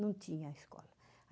Não tinha a escola.